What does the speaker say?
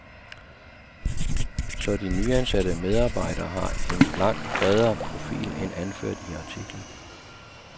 Så de nyansatte medarbejdere har en langt bredere profil end anført i artiklen.